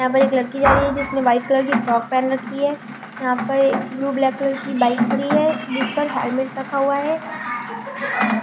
यहां पर एक लड़की जा रही है जिसने वाइट कलर की फ्रॉक पैन रखी है यहां पर ब्लू ब्लैक कलर की बाइक खड़ी है इस पर हेलमेट रखा हुआ है।